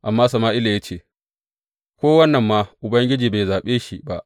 Amma Sama’ila ya ce, Ko wannan ma Ubangiji bai zaɓe shi ba.